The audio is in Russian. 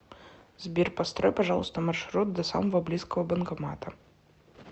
сбер построй пожалуйста маршрут до самого близкого банкомата